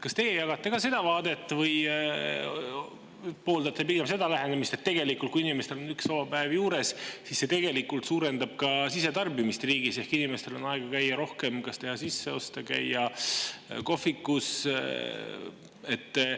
Kas teie jagate seda vaadet või pooldate pigem seda lähenemist, et kui inimestel on üks vaba päev juures, siis see tegelikult suurendab sisetarbimist riigis, sest inimestel on rohkem aega teha kas sisseoste või käia kohvikus?